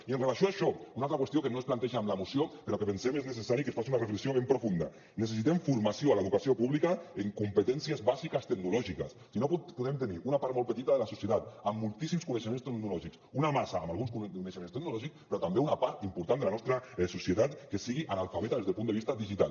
i en relació amb això una altra qüestió que no es planteja en la moció però que pensem que és necessari que se’n faci una reflexió ben profunda necessitem formació a l’educació pública en competències bàsiques tecnològiques si no podem tenir una part molt petita de la societat amb moltíssims coneixements tecnològics una massa amb alguns coneixements tecnològics però també una part important de la nostra societat que sigui analfabeta des del punt de vista digital